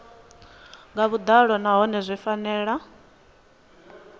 nga vhuḓalo nahone zwi fanela